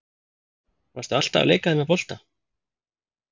Varstu alltaf að leika þér með bolta?